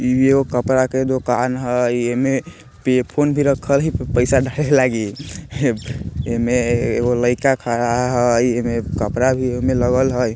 इहो कपड़ा के दोकान हय एमे पे फ़ोन भी रखल हय प पैसा लागी एमे एगो लड़का खड़ा हय एमे कपड़ा भी एमे लगल हय।